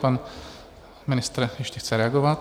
Pan ministr ještě chce reagovat.